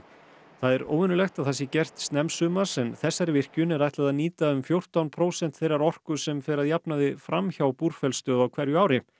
það er óvenjulegt að það sé gert snemmsumars en þessari virkjun er ætlað að nýta um fjórtán prósent þeirrar orku sem fer að jafnaði fram hjá Búrfellsstöð á hverju ári